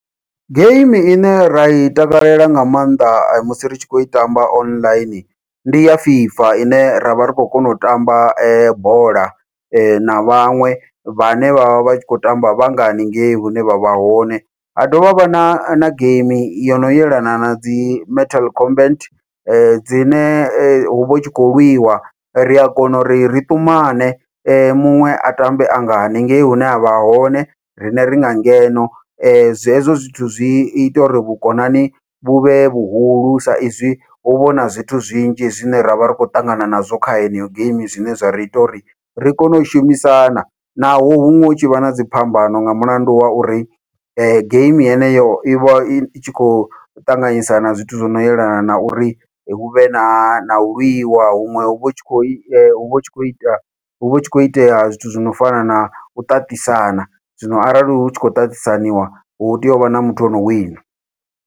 Geimi ine rai takalela nga maanḓa musi ri tshi khou i tamba online ndi ya fifa, ine ravha ri khou kona u tamba bola na vhaṅwe vhane vhavha vhatshi kho tamba vhanga haningei hune vha vha hone, ha dovha havha na na geimi yono yelana nadzi mental comment dzine huvha hu tshi khou lwiwa ria kona uri ri ṱumane muṅwe a tambe anga haningei hune avha hone riṋe ringa ngeno. Hezwo zwithu zwi ita uri vhukonani vhu vhe vhuhulu saizwi huvha huna zwithu zwinzhi zwine ravha ri khou ṱangana nazwo kha heneyo geimi zwine zwa ri ita uri ri kone u shumisana naho huṅwe hu tshi vha na dziphambano, nga mulandu wa uri geimi heneyo ivha i tshi khou ṱanganyisa na zwithu zwono yelana na uri huvhe nau lwiwa, huṅwe huvha hu tshi khou huvha hutshi khou ita huvha hu tshi khou itea zwithu zwino fana nau ṱaṱisana, zwino arali hu tshi khou ṱaṱisaniwa hu tea uvha na muthu ono wina.